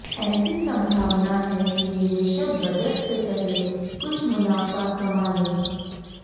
ऐसी संभावना है कि निवेशक बजट से पहले कुछ मुनाफा कमा लें